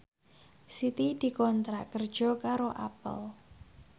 Siti dikontrak kerja karo Apple